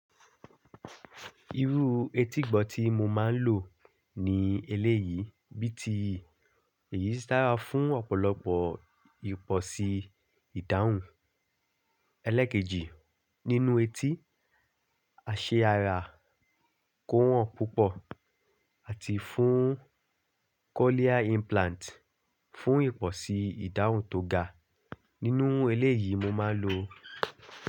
Irú etígbọ tí mo máa ń lò ní eléyìí bíi ti èyí tí a fún ọ̀pọ̀lọpọ̀ ìpọ̀ṣi ìdáhùn ẹlẹ́kejì nínú etí, àṣẹ ara kó wọ́n púpọ̀ àti fún cochlear implant fún ìpọ̀ṣi ìdáhùn tó ga nínú eléyìí mo máa ń lò.